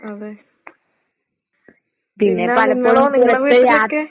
അതെ. പിന്നെ നിങ്ങളോ നിങ്ങടെ വീട്ടിലൊക്കെ